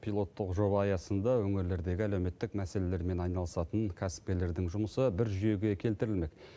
пилоттық жоба аясында өңірлердегі әлеуметтік мәселелермен айналысатын кәсіпкерлердің жұмысы бір жүйеге келтірілмек